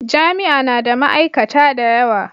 Jami'a na da ma'aikata da yawa.